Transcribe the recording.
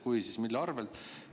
Kui nii, siis mille arvelt?